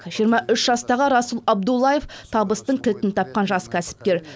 жиырма үш жастағы расул абдуллаев табыстың кілтін тапқан жас кәсіпкер